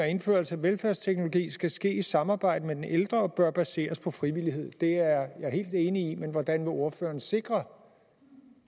indførelse af velfærdsteknologi skal ske i samarbejde med den ældre og bør baseres på frivillighed det er jeg helt enig i men hvordan vil ordføreren sikre